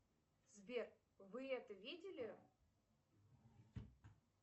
сбер вы это видели